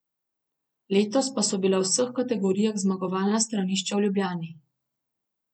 Letos pa so bila v vseh kategorijah zmagovalna stranišča v Ljubljani.